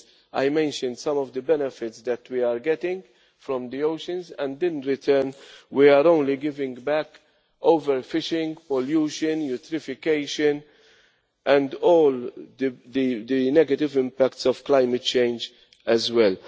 I mentioned some of the benefits that we are getting from the oceans and in return we are only giving back over fishing, pollution, eutrophication and all the negative impacts of climate change as well.